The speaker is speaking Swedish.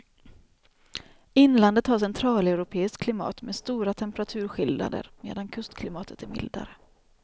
Inlandet har centraleuropeiskt klimat med stora temperaturskillnader medan kustklimatet är mildare.